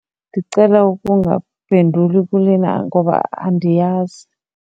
Ndicela ukungaphenduli kulena ngoba andiyazi.